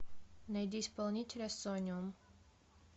найди исполнителя сонниум